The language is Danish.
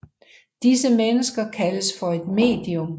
Disse mennesker kaldes for et medium